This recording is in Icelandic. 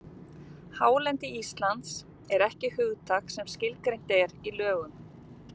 Hálendi Íslands er ekki hugtak sem skilgreint er í lögum.